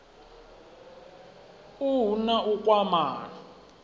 u hu na u kwamana